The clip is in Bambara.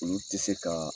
Olu tɛ se ka